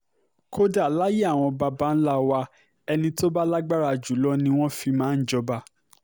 kódà láyé àwọn baba ńlá wa ẹni tó bá lágbára jù lọ ni wọ́n fi máa ń jọba